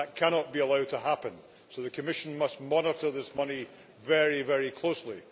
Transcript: That cannot be allowed to happen, so the Commission must monitor this money very closely.